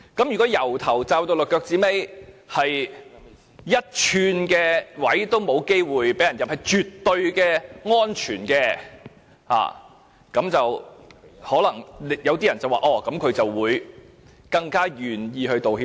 如果從頭罩到腳，沒有露出一寸身體，沒有機會被人攻擊，是絕對安全的，那麼做錯事的人可能更願意道歉。